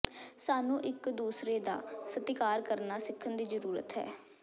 ਸਾਨੂੰ ਇੱਕ ਦੂਸਰੇ ਦਾ ਸਤਿਕਾਰ ਕਰਨਾ ਸਿੱਖਣ ਦੀ ਜ਼ਰੂਰਤ ਹੈ